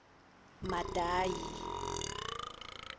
madayi